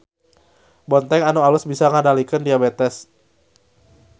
Bontèng anu alus bisa ngadalikeun diabètes.